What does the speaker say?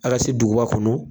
A ka se duguba kɔnɔ